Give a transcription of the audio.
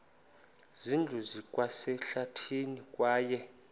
zindlu zikwasehlathini kwaye